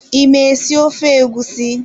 I ma esi ofe egusi?